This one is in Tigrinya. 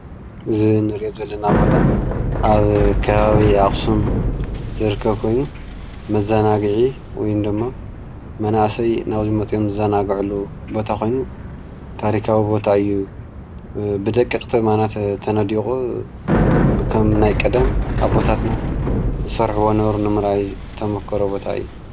እዚ እንሪኦ ዘለና ቦታ ኣብ ከባቢ ኣክሱም ዝርከብ ኮይኑ መዘናግዒ ወይ ድማ መናእሰይ ናብዚ ቦታ መፅኦም ዝዘናግዕሉ ቦታ ኮይኑ፣ ታሪካዊ ቦታ እዩ ፣ብደቀቅቲ ኣእማናት ተነዲቁ በቶም ናይ ቀደም ዝሰርሕዎ ዝነበሩ ንምርኣይ ዝተሞከረ ቦታ እዩ፡፡